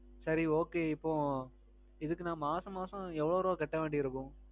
சரி okay. இப்போ இதுக்கு நான் மாசம் மாசம் எவ்வளவு ரூவா கட்ட வேண்டி இருக்கும்?